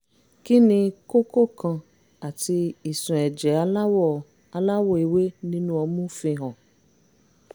kí ni kókó kan àti ìsun ẹ̀jẹ̀ aláwọ̀ aláwọ̀ ewé nínú ọmú fihàn?